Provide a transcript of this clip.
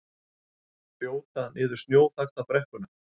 Þjóta niður snjóþakta brekkuna